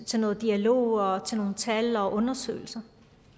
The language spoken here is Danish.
til noget dialog og til nogle tal og undersøgelser